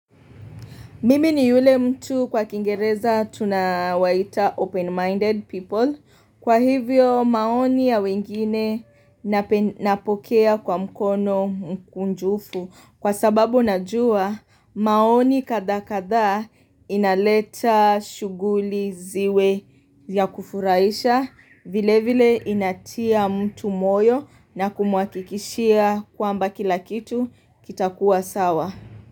Mimi ni yule mtu kwa kiingereza tunawaita open-minded people. Kwa hivyo maoni ya wengine napokea kwa mkono mkunjufu. Kwa sababu najua maoni kadha kadha inaleta shughuli ziwe ya kufurahisha. Vile vile inatia mtu moyo na kumhakikishia kwamba kilakitu kitakuwa sawa.